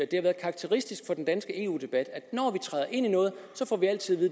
det har været karakteristisk for den danske eu debat at når vi træder ind i noget får vi altid